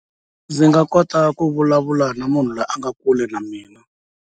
Ndzi nga kota ku vulavula na munhu loyi a nga kule na mina.